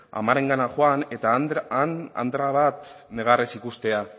amarengana joan eta han andre bat negarrez ikustea